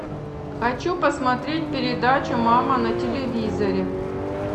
хочу посмотреть передачу мама на телевизоре